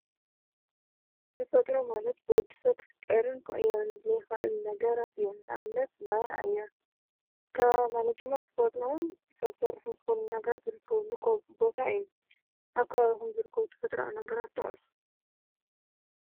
ተፈጥሮ ማለት ብወድሰ ኽፍጥርን ክቅየርን ዘይክአል ነገራት እዩ። ንኣብነት ማይ፣ ኣየር፣ ካባቢ ማለት ድማ ተፈጥሮን ሰብ ስራሕን ዝኮኑ ነገራ ዝርከብሉ ቦታ እዩ። ኣብ ከባቢኩም ዝርከቡ ተፈጥረዊ ነገራት ጥቀሱ?